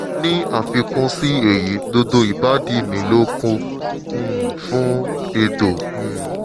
ní àfikún sí èyí gbogbo ìbàdí mi ló kún um fún egbò um